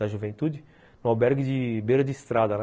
Da juventude, num albergue de beira de estrada, né?